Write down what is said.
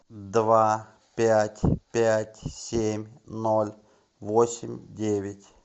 два пять пять семь ноль восемь девять